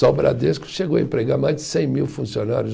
Só o Bradesco chegou a empregar mais de cem mil funcionários.